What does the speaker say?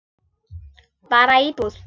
Bara íbúð.